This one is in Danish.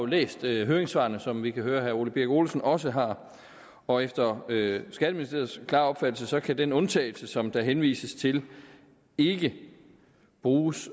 læst høringssvarene som vi kan høre at herre ole birk olesen også har og efter skatteministeriet klare opfattelse kan den undtagelse som der henvises til ikke bruges